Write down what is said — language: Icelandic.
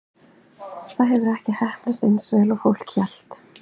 Það hefur ekki heppnast eins vel og fólk hélt.